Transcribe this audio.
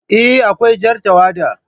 Eh, Akwai Jar tawada